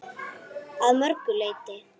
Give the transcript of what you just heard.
Að mörgu leyti.